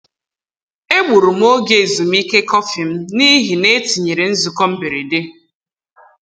E gburu m ògè ezumike kọfị m n’ihi na e tinyere nzukọ mberede.